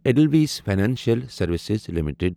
Edelweiss Financial Services limited